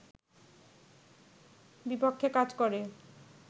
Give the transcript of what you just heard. বিপক্ষে কাজ করে